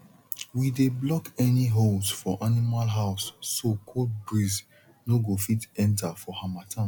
we dey block any holes for animal house so cold breeze no go fit enter for harmattan